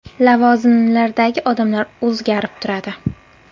Lavozimlardagi odamlar o‘zgarib turadi.